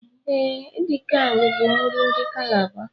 E, edikang bu nri ndi Calabar